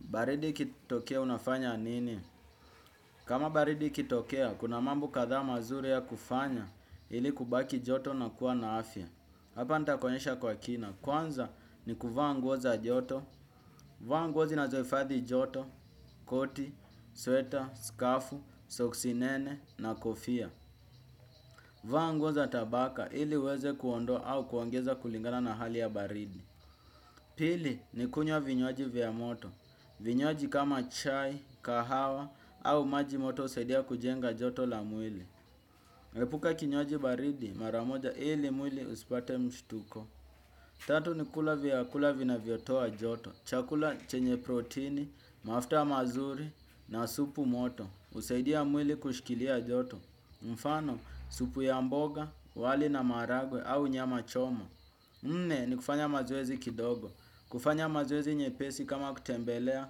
Baridi ikitokea unafanya anini? Kama baridi ikitokea, kuna mambo kadha mazuri ya kufanya ili kubaki joto na kuwa na afya. Hapa nitakuonyesha kwa kina. Kwanza ni kuvaa nguo za joto, vaa nguo zinazoifadhi joto, koti, sweta, skafu, soksi nene na kofia. Vaa nguo za tabaka ili uweze kuondoa au kuongeza kulingana na hali ya baridi. Pili ni kunywa vinywaji vya moto. Vinywaji kama chai, kahawa au maji moto usaidia kujenga joto la mwili. Epuka kinywaji baridi maramoja ili mwili usipate mshtuko. Tatu ni kula vyakula vinavyotoa joto. Chakula chenye protini, mafuta mazuri na supu moto usaidia mwili kushkilia joto. Mfano supu ya mboga, wali na maaragwe au nyama chomo. Nne ni kufanya mazoezi kidogo. Kufanya mazoezi nyepesi kama kutembelea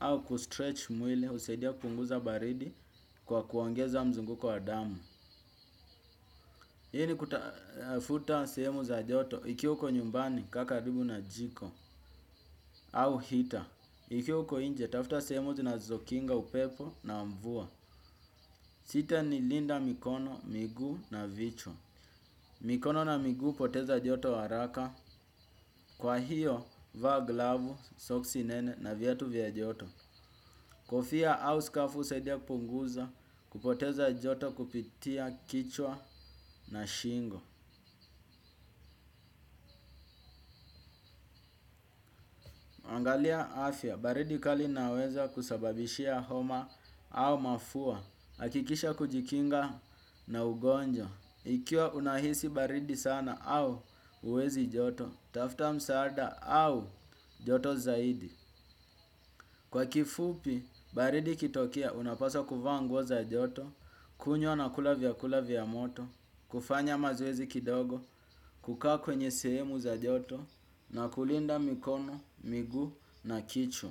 au kustretch mwili usaidia kupunguza baridi kwa kuongeza mzunguko wa damu. Hii ni kutafuta sehemu za joto ikiwa uko nyumbani kaa karibu na jiko au heater. Ikiwa uko inje tafuta sehemu zinazokinga upepo na mvua. Sita ni linda mikono, miguu na vichwa. Mikono na miguu upoteza joto haraka. Kwa hiyo va glavu, soksi nene na viatu vya joto. Kofia au skafu usaidia kupunguza kupoteza joto kupitia kichwa na shingo. Angalia afya, baridi kali inaweza kusababishia homa au mafua, akikisha kujikinga na ugonjwa. Ikiwa unahisi baridi sana au uwezi joto, tafuta msaada au joto zaidi. Kwa kifupi, baridi ikitokea unapaswa kuvaa nguo za joto, kunywa na kula vyakula vya moto, kufanya mazoezi kidogo, kukaa kwenye sehemu za joto na kulinda mikono, miguu na kichwa.